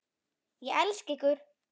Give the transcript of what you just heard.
Ég elska ykkur.